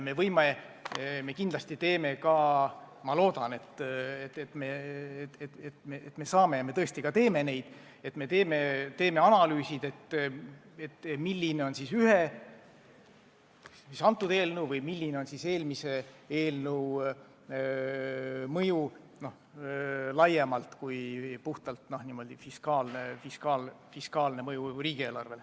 Me kindlasti teeme ka analüüsid – ma loodan, et me tõesti saame neid teha –, milline on meie eelnõu ja milline on eelmise eelnõu mõju laiemalt, mitte ainult nende fiskaalne mõju riigieelarvele.